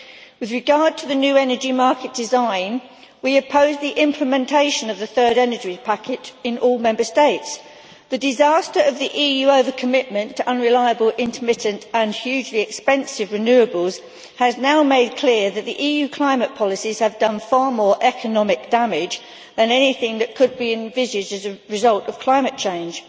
With regard to the new energy market design, we opposed the implementation of the Third Energy Package in all Member States. The disaster of the EU over commitment to unreliable, intermittent and hugely expensive renewables has now made clear that the EU climate policies have done far more economic damage than anything that could be envisaged as a result of climate change.